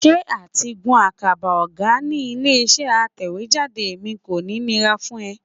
Ṣé àtigún àkàbà ọ̀gá ní ilé-iṣẹ́ aṣèwéjádé mi kò ní nira fún ẹ?